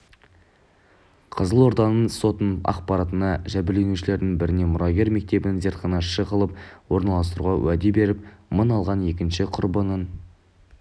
қызылорданың сотының ақпарынша жәбірленушілердің біріне мұрагер мектебіне зертханашы қылып орналастыруға уәде беріп мың алған екінші құрбанынан